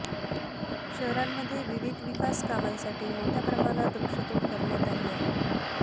शहरांमध्ये विविध विकासकामांसाठी मोठ्या प्रमाणात वृक्षतोड करण्यात आली आहे